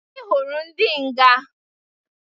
Anyi hụrụ ndị nga.